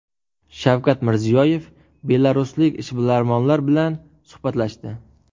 Shavkat Mirziyoyev belaruslik ishbilarmonlar bilan suhbatlashdi.